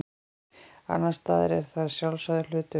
annars staðar er það sjálfsagður hlutur